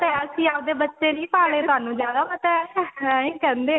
ਅਸੀਂ ਆਪਦੇ ਬੱਚੇ ਨਹੀਂ ਪਾਲੇ ਤੁਹਾਨੂੰ ਜ਼ਿਆਦਾ ਪਤਾ ਹੈ ਇਹੀ ਹੀ ਕਹਿੰਦੇ ਹੈ